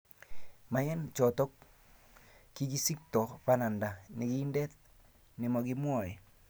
Maem choto, kikisikto bananda nekindet nemakimwoe